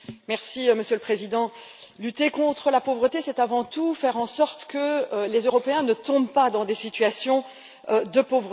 Monsieur le Président, lutter contre la pauvreté, c'est avant tout faire en sorte que les Européens ne tombent pas dans des situations de pauvreté.